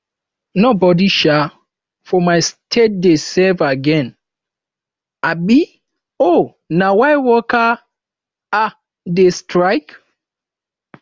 nobodi um for my state dey safe again um o na why workers um dey strike